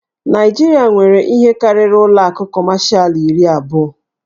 Naịjirịa nwere ihe karịrị ụlọ akụ Kọmashal iri abụọ.